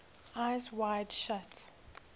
eyes wide shut